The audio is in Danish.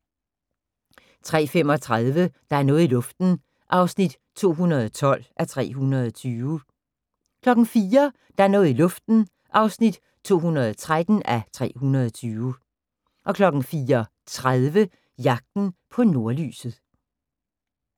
03:35: Der er noget i luften (212:320) 04:00: Der er noget i luften (213:320) 04:30: Jagten på nordlyset